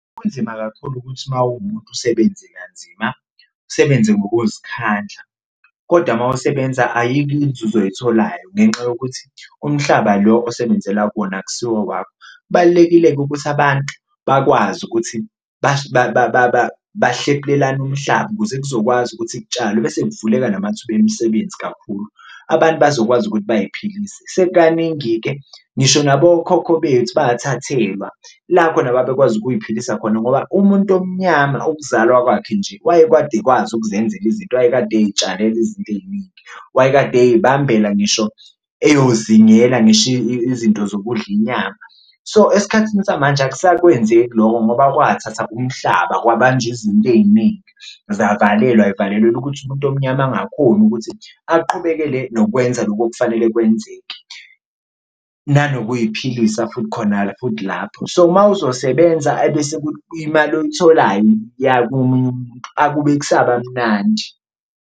Kunzima kakhulu ukuthi uma uwumuntu usebenze kanzima, usebenze ngokuzikhandla kodwa mawusebenza ayikho inzuzo oyitholayo ngenxa yokuthi umhlaba lo osebenzela kuwona akusiwo owakho. Kubalulekile-ke ukuthi abantu bakwazi ukuthi bahlephulelane umhlaba ukuze kuzokwazi ukuthi kutshalwe bese kuvuleka namathuba emisebenzi kakhulu, abantu bazokwazi ukuthi bayiphilise. Sekukaningi-ke ngisho nabokhokho bethu wathathelwa la khona ababekwazi ukuyiphilisa khona ngoba umuntu omnyama ukuzalwa kwakhe nje wayekwade ekwazi ukuzenzela izinto, wayekade ey'tshalela izinto ey'ningi, wayekade ey'bambela ngisho eyozingela ngisho izinto zokudla inyama. So, esikhathini samanje akusakwenzeki loko ngoba kwathatha umhlaba kwabanjwa izinto ey'ningi zavalelwa zivalelelwa ukuthi umuntu omnyama angakhoni ukuthi aqhubekele nokwenza lokhu okufanele kwenzeke, nanokuy'philisa futhi khona futhi lapho. So, mawuzosebenza ebese imali oyitholayo komunye umuntu akube kusaba mnandi.